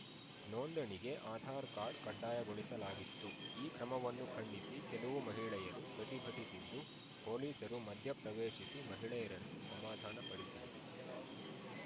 ನೋಂದಣಿಗೆ ಆಧಾರ್‌ ಕಾರ್ಡ್‌ ಕಡ್ಡಾಯಗೊಳಿಸಲಾಗಿತ್ತು ಈ ಕ್ರಮವನ್ನು ಖಂಡಿಸಿ ಕೆಲವು ಮಹಿಳೆಯರು ಪ್ರತಿಭಟಿಸಿದ್ದು ಪೊಲೀಸರು ಮಧ್ಯಪ್ರವೇಶಿಸಿ ಮಹಿಳೆಯರನ್ನು ಸಮಾಧಾನಪಡಿಸಿದರು